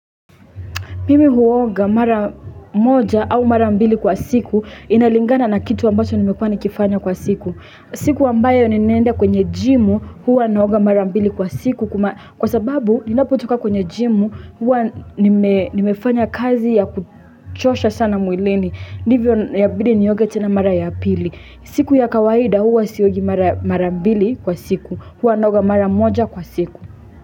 Mimi huoga mara moja au mara mbili kwa siku inalingana na kitu ambacho nimekuwa nikifanya kwa siku. Siku ambayo ninaenda kwenye gym huwa naoga mara mbili kwa siku kwa sababu ninapotoka kwenye gym huwa nimefanya kazi ya kuchosha sana mwilini. Ndivyo ya bidi nioge tena mara ya pili. Siku ya kawaida huwa siogi mara mbili kwa siku huwa naoga mara moja kwa siku.